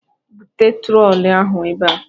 "Bụtee trolị ahụ ebe a"